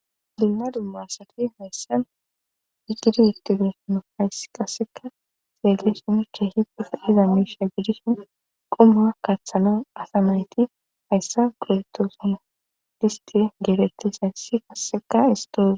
Dunna dummaasati hayssan hiqidi iktibesano hayssi qasseka seegeesh muche hipuf iza meisha gidishin qumawa kaaththana asamayti hayssa qorotoosin disti geerettis hayssi qasseka istooze